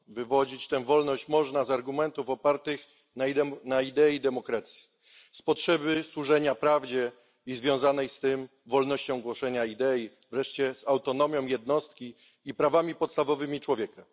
Wywodzić tę wolność można z argumentów opartych na idei demokracji, z potrzeby służenia prawdzie i związanej z tym wolnością głoszenia idei, wreszcie z autonomii jednostki i praw podstawowych człowieka.